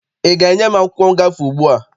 Ị ga-enye m akwụkwọ ngafe ugbua?